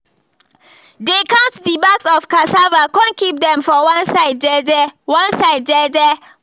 dey count the bags of cassava con keep them for one side jeje one side jeje